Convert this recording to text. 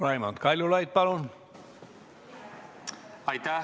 Raimond Kaljulaid, palun!